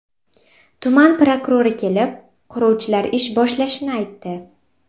Tuman prokurori kelib, quruvchilar ish boshlashini aytdi.